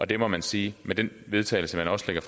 det må man sige med den vedtagelse man også lægger